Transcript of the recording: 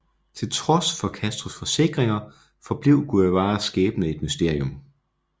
Til trods for Castros forsikringer forblev Guevaras skæbne et mysterium